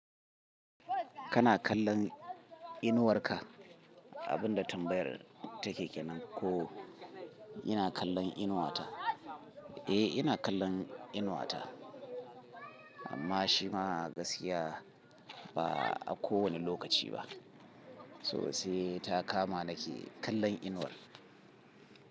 Kana kallon inuwar ka? Abinda tambayar take kenan ko? Ina kallon inuwata? Eh, ina kallon inuwata amma shi ma gaskiya ba a kowanne lokaci ba. To sai ta kama nake kallon inuwar.